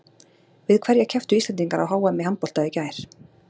Við hverja kepptu Íslendingar á HM í handbolta í gær?